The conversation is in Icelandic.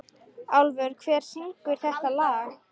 Álfur, hver syngur þetta lag?